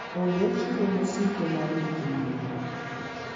onge chiro mosiko mar nyithi gwen.